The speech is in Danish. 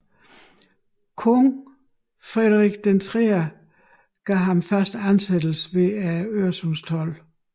Kong Frederik III gav ham fast ansættelse ved Øresundstolden